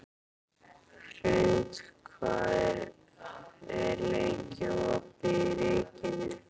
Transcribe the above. Hrund, hvað er lengi opið í Ríkinu?